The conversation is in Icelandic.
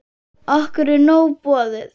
Okkur er nóg boðið